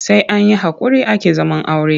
Sai an yi haƙuri ake zaman aure.